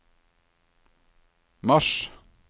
mars